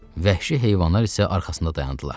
vəhşi heyvanlar isə arxasında dayandılar.